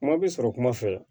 Kuma bɛ sɔrɔ kuma fɛ